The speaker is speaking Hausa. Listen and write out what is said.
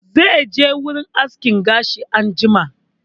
Zai je wurin aske gashi anjima